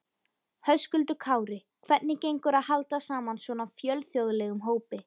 Höskuldur Kári: Hvernig gengur að halda saman svona fjölþjóðlegum hópi?